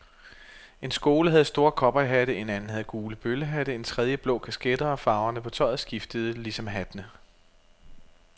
En skole havde store cowboyhatte, en anden havde gule bøllehatte, en tredje blå kasketter og farverne på tøjet skiftede lgesom hattene.